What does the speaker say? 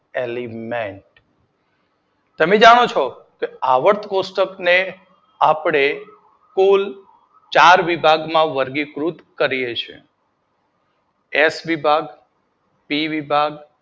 element તમે જાણો છો આવર્ત કોષ્ટક ને આપદે કુલ ચાર વિભાગ માં વર્ગીકૃત કરીએ છીએ એસ વિભાગ, સી વિભાગ